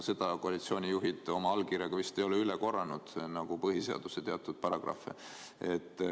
Seda koalitsioonijuhid oma allkirjaga vist ei ole üle korranud nagu põhiseaduse teatud paragrahve.